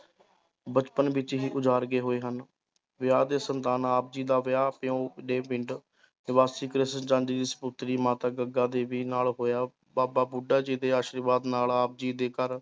ਬਚਪਨ ਵਿੱਚ ਹੀ ਉਜਾੜ ਗਏ ਹੋਏ ਹਨ, ਵਿਆਹ ਤੇ ਸੰਤਾਨ, ਆਪ ਜੀ ਦਾ ਵਿਆਹ ਦੇ ਪਿੰਡ ਸਪੁੱਤਰੀ ਮਾਤਾ ਗੰਗਾ ਦੇਵੀ ਨਾਲ ਹੋਇਆ, ਬਾਬਾ ਬੁੱਢਾ ਜੀ ਦੇ ਆਸ਼ਿਰਵਾਦ ਨਾਲ ਆਪ ਜੀ ਦੇ ਘਰ